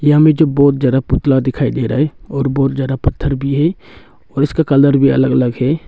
यहाँ मे जो बहुत ज्यादा पुतला दिखाई दे रहा है और बहुत ज्यादा पत्थर भी है और इसका कलर भी अलग अलग है।